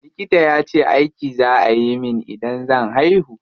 Likita yace aiki za a yi min idan zan haihu.